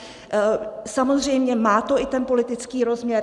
Samozřejmě má to i ten politický rozměr.